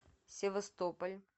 севастополь